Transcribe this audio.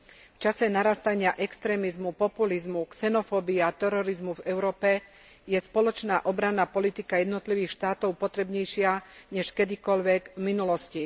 V čase narastania extrémizmu, populizmu, xenofóbie a terorizmu v Európe je spoločná obranná politika jednotlivých štátov potrebnejšia než kedykoľvek v minulosti.